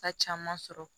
Ta caman sɔrɔ